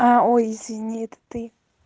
ой извини это ты